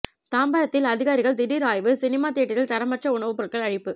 தாம்பரத்தில் அதிகாரிகள் திடீர் ஆய்வு சினிமா தியேட்டரில் தரமற்ற உணவு பொருட்கள் அழிப்பு